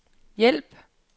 hjælp